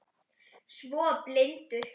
Svo blindur